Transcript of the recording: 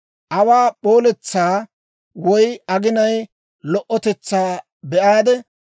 Awaa p'ooletsaa woy aginaa lo"otetsaa be'aade,